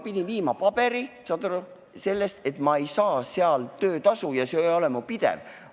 Pidin viima paberi, saad aru, selle kohta, et ma ei saa sealt töötasu ja sissetulek ei ole pidev.